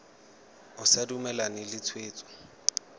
o sa dumalane le tshwetso